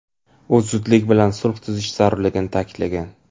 U zudlik bilan sulh tuzish zarurligi ta’kidlagan.